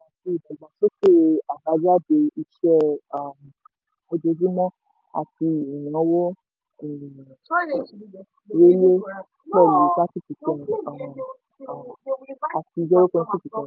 ìdàgbàsókè àbájáde iṣẹ́ um ojojúmọ́ àti ìnáwó um rẹlẹ̀ pẹlu thirty percent um um àti zero point two percent.